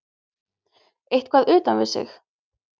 Eitthvað utan við sig.